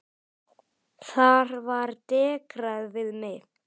Þar var dekrað við mig.